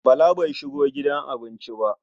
Bala bai shigo gidan abincin ba.